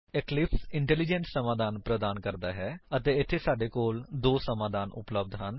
Eclipse intelligence ਸਮਾਧਾਨ ਪ੍ਰਦਾਨ ਕਰਦਾ ਹੈ ਅਤੇ ਇੱਥੇ ਸਾਡੇ ਕੋਲ ਦੋ ਸਮਾਧਾਨ ਉਪਲੱਬਧ ਹਨ